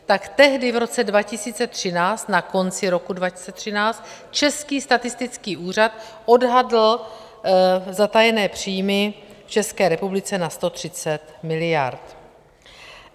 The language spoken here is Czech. Tak tehdy v roce 2013, na konci roku 2013, Český statistický úřad odhadl zatajené příjmy v České republice na 130 miliard.